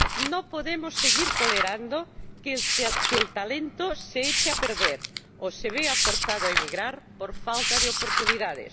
No podemos seguir tolerando que el talento se eche a perder o se vea forzado a emigrar por falta de oportunidades.